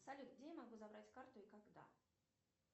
салют где я могу забрать карту и когда